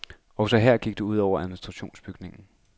Også her gik det ud over en administrationsbygning.